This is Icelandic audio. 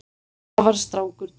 Afar strangur dómur